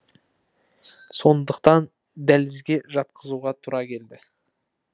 сондықтан дәлізге жатқызуға тура келді